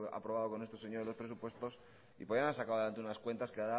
haber aprobado con estos señores los presupuestos y podían haber sacado adelante unas cuentas que